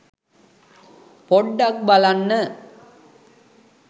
පොඩ්ඩක් බලන්න